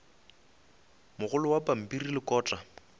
mogolo wa pampiri le kota